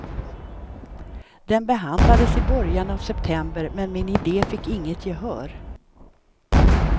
Den behandlades i början av september men min idé fick inget gehör.